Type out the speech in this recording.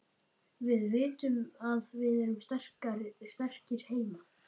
Við vitum að við erum sterkir heima.